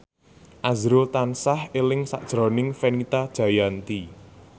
azrul tansah eling sakjroning Fenita Jayanti